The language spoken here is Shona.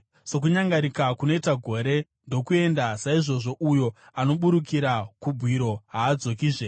Sokunyangarika kunoita gore ndokuenda, saizvozvo uyo anoburukira kubwiro haadzokizve.